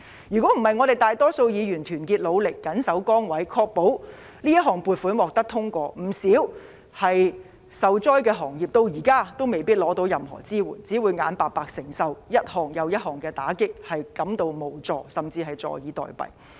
如果不是我們大多數議員團結努力，謹守崗位，確保這項撥款獲得通過，不少受災的行業至今也未必得到任何支援，只會眼白白承受一重又一重的打擊，感到無助，甚至坐以待斃。